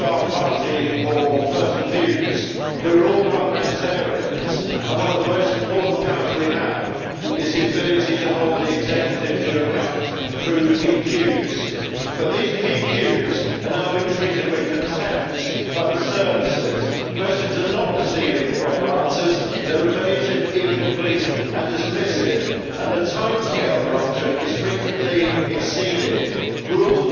of our party or personal views we are all parliamentarians and one of the most important powers we have is the ability to hold the executive to account through parliamentary PQs, but these PQs are now being treated with contempt by the services. Questions are not receiving proper answers, they are evasive, incomplete and dismissive, and the timescale for answering is frequency exceeded. Rule